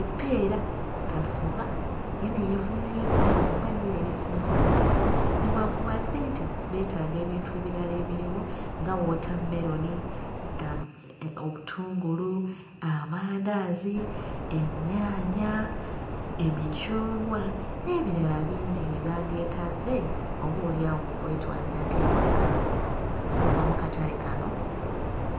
eppeera tasubwa ye ne yeefunirayo eppeera kuba ye lye lisinze ommutwala newankubadde nti beetaaga ebintu ebirala ebiriwo nga wootammeroni, amu ee obutungulu, amandaazi, ennyaanya, emicungwa n'ebirala bingi bye bandyetaaze oboolyawo okwetwalirako ewaka okuva mu katale kano.